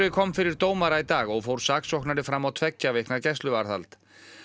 kom fyrir dómara í dag og fór saksóknari fram á tveggja vikna gæsluvarðhald